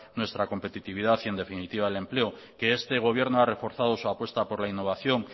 nuestra competitividad y en definitiva el empleo que este gobierno ha reforzado su apuesta por la innovación